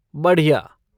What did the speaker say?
बढ़िया!